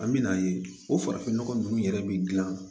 An me n'a ye o farafinnɔgɔ ninnu yɛrɛ bɛ dilan